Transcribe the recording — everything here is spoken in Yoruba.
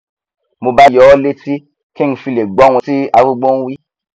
mo bá yọ ọ létí kí ng fi lè gbọhun tí arúgbó nwí